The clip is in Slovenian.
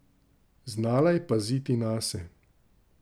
Znala je paziti nase.